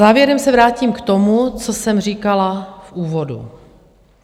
Závěrem se vrátím k tomu, co jsem říkala v úvodu.